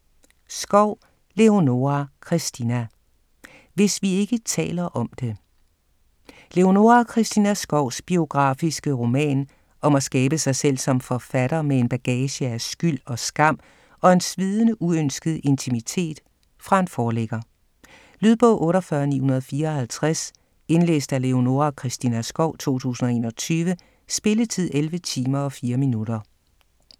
Skov, Leonora Christina: Hvis vi ikke taler om det Leonora Christina Skovs biografiske roman om at skabe sig selv som forfatter med en bagage af skyld og skam og en svidende uønsket intimitet fra en forlægger. Lydbog 48954 Indlæst af Leonora Christina Skov, 2021. Spilletid: 11 timer, 4 minutter.